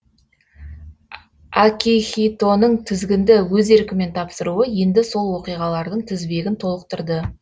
акихитоның тізгінді өз еркімен тапсыруы енді сол оқиғалардың тізбегін толықтырды